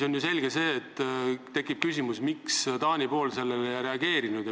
Loomulikult tekib küsimus, miks Taani pool sellele ei reageerinud.